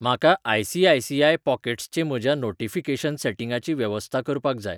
म्हाका ICICI pockets चे म्हज्या नोटीफिकेशन सेटिंगाची वेवस्था करपाक जाय